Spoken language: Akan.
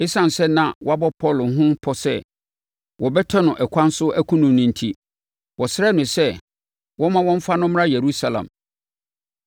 Esiane sɛ na wɔabɔ Paulo ho pɔ sɛ wɔbɛtɛ no ɛkwan so akum no enti, wɔsrɛɛ no sɛ wɔmma wɔmfa no mmra Yerusalem.